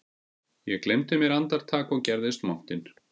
Ég gleymdi mér andartak og gerðist montinn